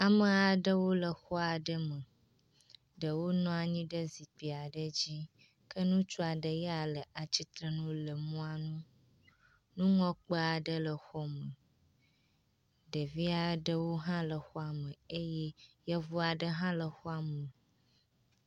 Ame aɖewo le xɔ aɖe me. Ɖewo nɔ anyi ɖe zikpui aɖe dzi ke ŋutsu aɖe ya le atsitre nu le mɔa nu. nuŋlɔkpe aɖe le xɔa me. Ɖevi aɖewo hã le xɔa eye yevu aɖe hã le xɔa me.